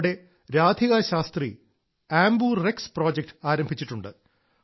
അവിടെ രാധികാ ശാസ്ത്രി ആംബുറെക്സ് പ്രോജക്ട് ആരംഭിച്ചിട്ടുണ്ട്